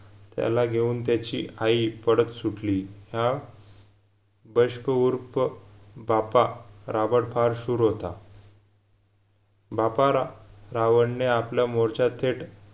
त्याला घेऊन त्याची आई पडत सुटली हा बष्प उर्फ बापा राबड फार शूर होता बापारा रावनने आपला मोर्चा थेट